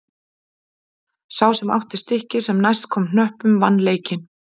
Sá sem átti stikkið sem næst komst hnöppunum vann leikinn.